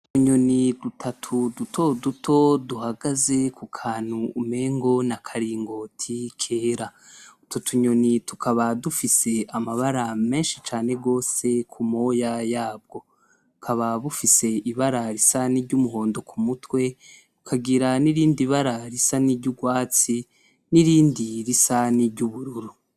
Utunyoni dutatu duto duto duhagaze ku kantu umengo n'akaringoti kera, utwo tunyoni tukaba dufise amabara menshi cane gose ku moya yabwo, bukaba bufise ibara risa n'iryumuhondo ku mutwe bukagira n'irindi bara risa n'iryurwatsi nirindi risa n'iryubururu.